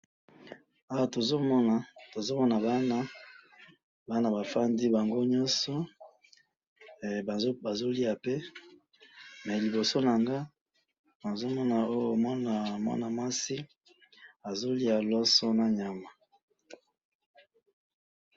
awa tozo mona bana bana ba vandi bango nyoso bazo lia pe mais liboso nanga na zo mona mwana mwasi azo lia loso na nyama